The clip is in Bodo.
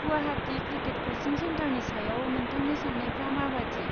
गुवाहाटि क्रिकेट क'चिं सेन्टारनि सायाव नोंथांनि साननायफ्रा माबायदि?